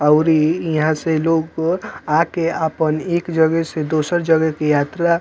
और इ यह से लोग आके आपन एक जगह से दूसर जगह की यात्रा --